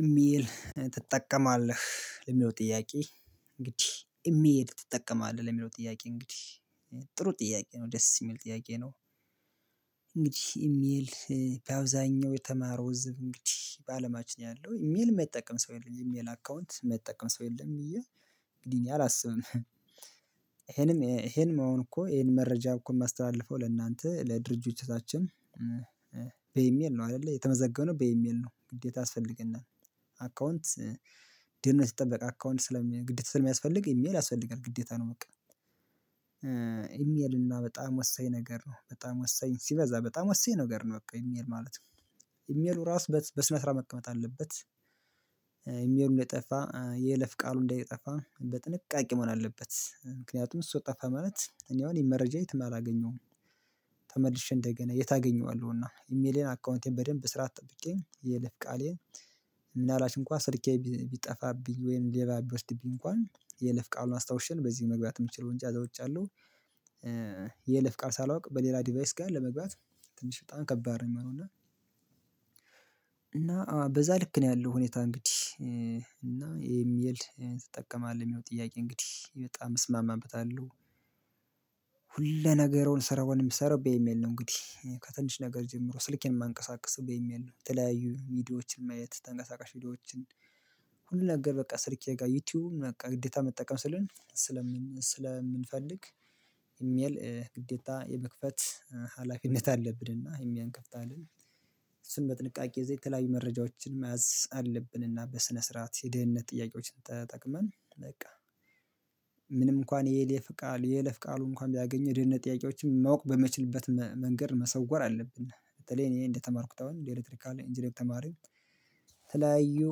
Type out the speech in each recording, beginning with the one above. ኢሜል ትጠቀማለህ የሚለው ጥያቄ እንግዲህ ኢሜል ትጠቀማለህ ለሚለው ጥያቄ እንግዲህ ጥሩ ጥያቄ ነው ደስ የሚል ጥያቄ ነው? እንግዲህ ኢሜል በአብዛኛው የተማረው እንግዲህ በአለማችን ያለው ኢሜል የማይጠቀም ሰው የለም የኤሚል አካውንት የማይጠቀም ሰው የለም እያ እንግዲህ እኔ አላስብም። ይሄንም ይሄን መሆን እኮ ይሄን መረጃ እኮ የማስተላልፈው ለእናንተ ለድርጅቶቻችን በኢሜል ነው አይደለ የተመዘገበነው በኢሜል ነው ግዴታ ያስፈልግናል። አካውንት ድህንነት የተጠበቅ አካውንት ስለሚያስፈልግ ግዴታ ስለሚያስፈልግ ኢሜል ያስፈልጋል ግዴታ ነው። በቃ ኢሜል እና በጣም ወሳኝ ነገር ነው በጣም ወሳኝ ሲበዛ በጣም ወሳኝ ነገር ነው በቃ ኢሜል ማለት ነው። ኢሜሉ ራሱ በስነ ስርዓት መቀመጥ አለበት ኢሜሉ እንደይጠፋ የይለፍ ቃሉ እንደይጠፋ በጥንቃቄ መሆን አለበት። ምክንያቱም እሱ ጠፋ ማለት እኔ አሁን መረጃ የትም አላገኘሁም። ተመልሼ እንደገና የት አገኘዋለሁና ኢሜሌን አካውንቴን በደንብ ስራ ጠብቄ የይልፍ ቃሌን። ምንአልባት እንኳን ስልኬ ቢጠፋብኝ ወይም ሌባ ቢወስድብኝ እንኳን የይለፍ ቃሉን አስታውሼ ነው በዚህ መግባት የምችለው እንጃ ያዛ ውጭያለሁ የይለፍ ቃል ሳላውቅ በሌላ ዲቫይስ ጋር ለመግባት ትንሽ በጣም ከባድ ነው የሚሆነው። እና በዛ ልክ ነው ያለው ሁኔታ እንግዲህ እና ይሄ ሚል ትጠቀማለህ የሚለው ጥያቄ እንግዲህ በጣም እስማማበታለሁ። ሁለ ነገርውን ስራዉን የምሰራው በኢሜል ነው እንግዲህ ከትንሽ ነገር ጀምሮ ስልኬን የማንቀሳቅስ በኢሚል ተለያዩ ሚዲያዎችን ማየት ተንቀሳቃሽ ቪዲዮዎችን ሁሉ ነገር በቃ ስልኬ ጋር ዩቲዩብ በቃ ግዴታ መጠቀም ስለሆነ ስለምንፈልግ። ኢሜል ግዴታ የመክፈት ሀላፊነት አለብንና ኢሜል እንከፍታለን። እሱም በጥንቃቄ የተለያዩ መረጃዎችን መያዝ አለብንና በስነ ስርዓት የደህንነት ጥያቄዎችን ተጠቅመን በቃ። ምንም እንኳን የይሌፍ ቃል የሌፍ የኤሌፍ ቃሉ እንኳን ቢያገኝ የድህነት ጥያቄዎችን ማወቅ በማይችልበት መንገድ መሰወር አለብን። በተለይ እኔ እንደተማርኩት አሁን እንደ ኤሌክትሪካል ኢንጂነር ተማሪው የተለያዩ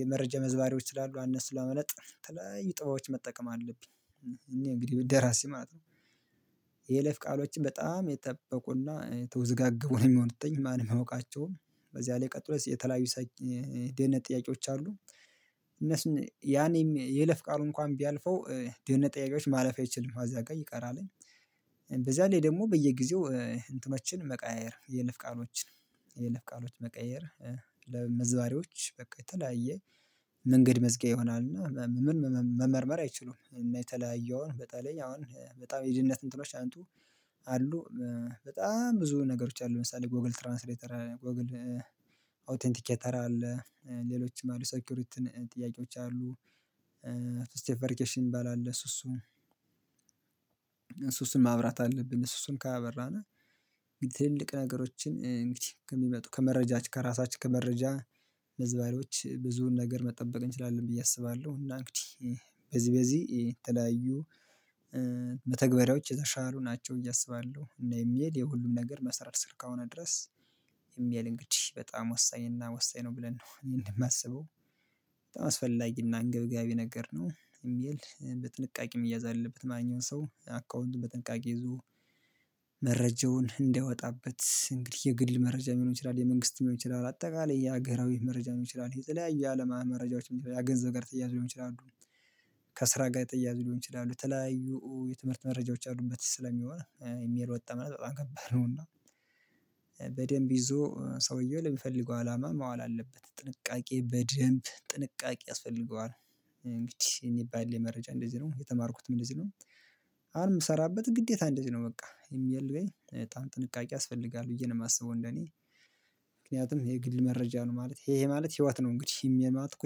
የመረጃ መዝባሬዎች ስላሉ እነስ ለማምለጥ የተለያዩ ጥበቦች መጠቀም አለብኝ እኔ እንግዲህ እንራሴ ማለት ነው። የይለፍ ቃሎችን በጣም የጠበቁና የተወዘጋገቡ ነው የሚሆንቱ ማንም አያውቃቸውም። በዚያ ላይ ቀጥሎስ የተለያዩ የደህንነት ጥያቄዎች አሉ። እነሱን ያኔም የለፍ ቃሉ እንኳን ቢያልፈው ደህንነት ጥያቄዎች ማለፍ አይችልም አዛ ጋር ይቀራልኝ። በዛ ላይ ደግሞ በየጊዜው እንትኖችን መቀያየር የይለፍ ቃሎችን የለፍ ቃሎች መቀየር ለመዝባሪዎች በቃ የተለያየ መንገድ መዝጊያ ይሆናልና። ምን መመርመር አይችሉም እና የተለያዩ በተለይ አሁን በጣም የድህነት እንትኖች አንቱ አሉ። በጣም ብዙ ነገሮች አሉ ለምሳሌ ጎግል ትራንስሌተር ጎግል አውተንቲኬተር አለ ሌሎችም አሉ ሴኩሪትን ጥያቄዎች አሉ። ስቴፕ ቨርኬሽን እሚባል አለ። እሱ እሱን ማብራት አለብን እሱስን ካላበራን ትልልቅ ነገሮችን እንግዲህ ከሚመጡ ከመረጃችን ከራሳችን ከመረጃ መዝባሪዎች ብዙን ነገር መጠበቅ እንችላለን ብዬ አስባለሁ። እና እንግዲህ በዚህ በዚህ የተለያዩ መተግባሪያዎች የተሻሉ ናቸው። አሰባለሁ እና ኢሜል የሁሉም ነገር መስራት አስከሆነ ድረስ ኢሜል እንግዲህ በጣም ወሳኝ እና ወሳኝ ነው ብለን ነው እኔ የማስበው። በጣም አስፈላጊና አንገብጋቢ ነገር ነው ኢሜል በጥንቃቄም መያዘ አለበትም ማንኛዉም ሰው አካውንቱን በጥንቃቄ ይዞ መረጃውን እንዳይወጣበት እንግዲህ የግል መረጃ ሊሆን ይችላል የመንግስት ሊሆን ይችላል አጠቃላይ የሀገራዊ መረጃ ሊሆን ይችላል የተለያየ የአለማ መረጃዎች ገንዘብ ጋር ተያያዘ ሊሆን ይችላሉ። ከስራ ጋር የተያያዙ ሊሆን ይችላሉ የተለያዩ የትምህርት መረጃዎች አሉበት ስለሚሆን ኢሜል ወጣ ማለት በጣም ከባድ ነውና። በደንብ ይዞ ሰውየው ለሚፈልገው አላማ ማዋል አለበት ጥንቃቄ በደንብ ጥንቃቄ ያስፈልገዋል። እንግዲህ እኔ ባለኝ መረጃ እንደዚህ ነው የተማርኩትም እንደዚህ ነው። ምሰራበት ግዴታ እንደዚህ ነው በቃ ኢሜል ላይ በጣም ጥንቃቄ ያስፈልጋል ብዬ ነው የማስበው እንደኔ። ምክንያቱም የግል መረጃ ነው ማለት ይሄ ይሄ ማለት ህይወት ነው እንግዲህ ኢሜል ማለት እኮ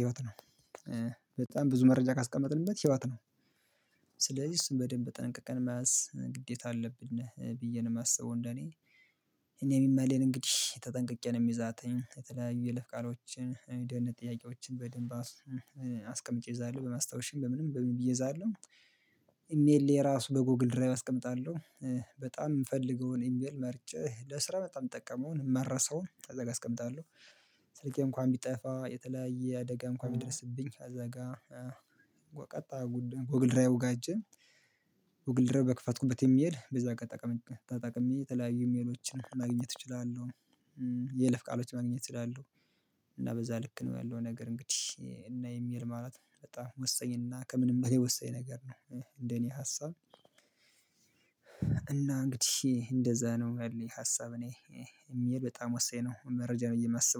ህይወት ነው። በጣም ብዙ መረጃ ካስቀመጥንበት ህይወት ነው። ስለዚህ እሱን በደንብ ተጠንቅቀን መያዝ ግዴታ አለብን ብዬ ነው የማስበው እንደኔ። እኔ ኢሜሌን እንግዲህ ተጠንቅቄ ነው የምይዛተኝ የተለያዩ የይለፍ ቃሎችን የደህንነት ጥያቄዎችን በደንብ አስቀምጬ ይዛለሁ በማስታወሻም በምንም በምንም ብዬ እዛለሁ። ኢሜሌ የራሱ በጎግል ድራይቭ አስቀምጣለሁ። በጣም የምፈልገውን ኢሜል መርጬ ለስራ በጣም እጠቀመውን እማረሰውን አዛጋ አስቀምጣለሁ። ስልኬ እንኳን ቢጠፋ የተለያየ አደጋ እንኳን ቢደረሰብኝ አዛ ጋር ቀጣ ጎግል ድራይቩ አይቼ ጎግል ድራይቭ በክፈትኩበት ኢሜል በዛ ተጠቅሜ የተለያየ ኢሜሎችን ማግኘት እችላለሁ። የይለፍ ቃሎች ማግኘት እችላለሁ። እና በዛ ልክ ነው ያለው ነገር እንግዲህ እና ኢሜል ማለት በጣም ወሳኝና ከምንም በሌላ ወሰኝ ነገር ነው። እንደኔ ሀሳብ እና እንግዲህ እንደዛ ነው ያለኝ ሀሳብ። እኔ የሚሄድ በጣም ወሳኝ ነው መረጃ ነው እምሰበው